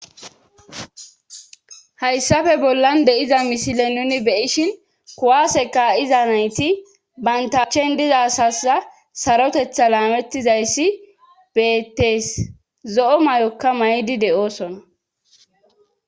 hayssafe bollan de7iza misile nuni beyishin kuwaaseka iza nayti bantachen diza sasa sarotetha laamettizayssi beettees zo7o mayokka maydi de7oosona